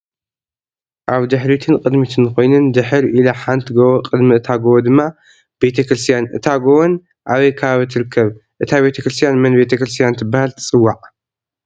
ኣብ ድሕሪትን ቅድምትን ኮይነን ድሕሪ ኢላ ሓንቲ ጎቦ ቅድሚ እታ ጎቦ ድማ ቤተክርስትያን እታ ጎቦን ኣበይ ከባቢ ትርከብ እታ ቤተክርስትን መን ቤተክርስትያን ትብሃል ትፅዋዒ?